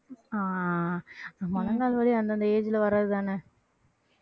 ஆஹ் முழங்கால் வலி அந்தந்த age ல வர்றதுதானே